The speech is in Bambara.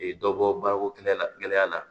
Dɔ bɔ baarako kɛnɛ la gɛlɛya la